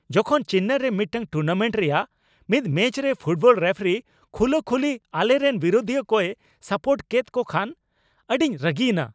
ᱡᱚᱠᱷᱚᱱ ᱪᱮᱱᱱᱟᱭ ᱨᱮ ᱢᱤᱫᱴᱟᱝ ᱴᱩᱨᱱᱟᱢᱮᱱᱴ ᱨᱮᱭᱟᱜ ᱢᱤᱫ ᱢᱮᱪ ᱨᱮ ᱯᱷᱩᱴᱵᱚᱞ ᱨᱮᱯᱷᱟᱨᱤ ᱠᱷᱩᱞᱟᱹᱠᱷᱩᱞᱤ ᱟᱞᱮᱨᱮᱱ ᱵᱤᱨᱩᱫᱷᱤᱭᱟᱹ ᱠᱚᱭ ᱥᱟᱯᱳᱨᱴ ᱠᱮᱫ ᱠᱚ ᱠᱷᱟᱱ ᱟᱹᱰᱤᱧ ᱨᱟᱹᱜᱤᱭᱮᱱᱟ ᱾